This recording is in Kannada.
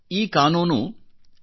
ಈ ಕಾನೂನು ಎಸ್